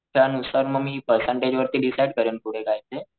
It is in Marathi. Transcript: त्या नुसार म मी परसेन्टेज वर डिसाइड करेल पुढं काय ते,